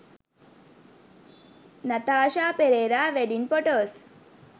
nathasha perera wedding photos